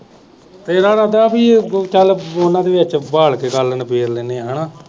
ਤੇਰਾ ਲਗਦਾ ਪੀ ਚਲ ਉਹਨਾਂ ਦੇ ਵਿਚ ਬਹਾਲ ਕੇ ਗੱਲ ਨਿਬੇੜ ਲੈਣੇ ਆ ਹੇਨਾ